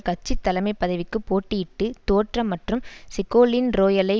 கட்சி தலைமை பதவிக்கு போட்டியிட்டு தோற்ற மற்றும் செகோலீன் ரோயாலை